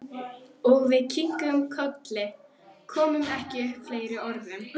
Og við kinkuðum kolli, komum ekki upp fleiri orðum.